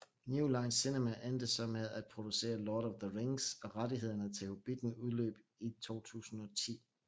New Line Cinema endte så med at producere Lord of the Rings og rettighederne til Hobbitten udløb i 2010